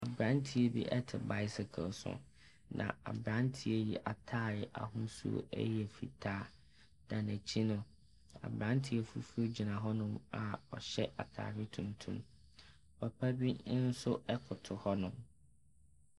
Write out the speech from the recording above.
Aberanteɛ bi te bicycle so, na aberanteɛ yi ataare ahosuo yɛ fitaa, na n’akyi no, aberanteɛ fufuo bi gyina hɔnom a ɔhyɛ ataare tuntum. Papa bi nso koto hɔnom.